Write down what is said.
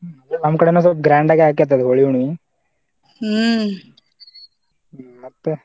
ಅದೆ ನಮ್ ಕಡೆನು ಸ್ವಲ್ಪ grand ಅಗೆ ಆಕ್ಕೆತಿ ಅಲ ಹೋಳಿ ಹುಣ್ಣಿವಿ ಹುಮ್ಮ್ ಮತ್ತ.